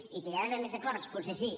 i que hi ha d’haver més acords potser sí